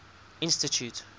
institute